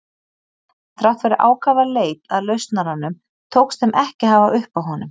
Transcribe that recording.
Þrátt fyrir ákafa leit að lausnaranum tókst þeim ekki að hafa uppi á honum.